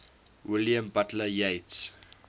william butler yeats